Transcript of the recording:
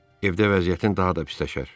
Evdə vəziyyətin daha da pisləşər.